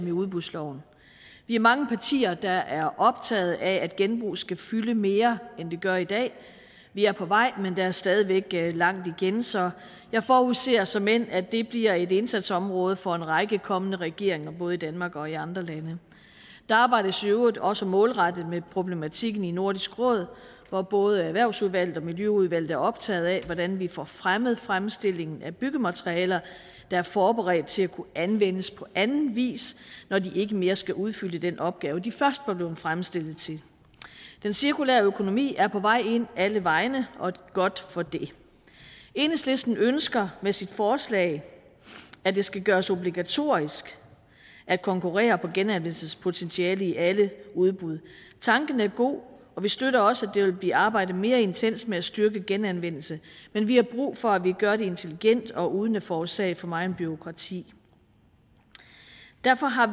i udbudsloven vi er mange partier der er optaget af at genbrug skal fylde mere end det gør i dag vi er på vej men der er stadig væk langt igen så jeg forudser såmænd at det bliver et indsatsområde for en række kommende regeringer både i danmark og i andre lande der arbejdes i øvrigt også målrettet med problematikken i nordisk råd hvor både erhvervsudvalget og miljøudvalget er optaget af hvordan vi får fremmet fremstillingen af byggematerialer der er forberedt til at kunne anvendes på anden vis når de ikke mere skal udfylde den opgave de først var blevet fremstillet til den cirkulære økonomi er på vej ind alle vegne og godt for det enhedslisten ønsker med sit forslag at det skal gøres obligatorisk at konkurrere på genanvendelsespotentiale i alle udbud tanken er god og vi støtter også der vil blive arbejdet mere intenst med at styrke genanvendelsen men vi har brug for at vi gør det intelligent og uden at forårsage for meget bureaukrati derfor har